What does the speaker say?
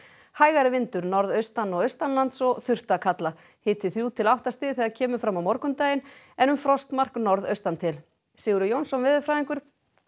hægari vindur norðaustan og austanlands og þurrt að kalla hiti þrjú til átta stig þegar kemur fram á morgundaginn en um frostmark norðaustan til Sigurður Jónsson veðurfræðingur